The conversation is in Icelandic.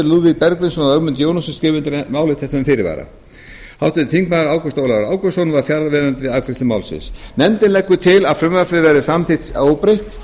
lúðvík bergvinsson og ögmundur jónasson skrifa undir álit þetta með fyrirvara ágúst ólafur ágústsson var fjarverandi við afgreiðslu málsins nefndin leggur til að frumvarpið verði samþykkt óbreytt